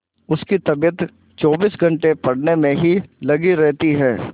उसकी तबीयत चौबीस घंटे पढ़ने में ही लगी रहती है